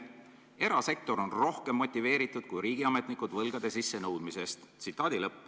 Erasektor on rohkem motiveeritud kui riigiametnikud võlgade sissenõudmisest.